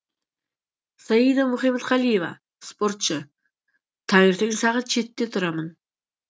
саида мұхаметқалиева спортшы таңертең сағат жетіде тұрамын